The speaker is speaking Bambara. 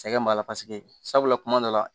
Sɛgɛn b'a la paseke sabula kuma dɔ la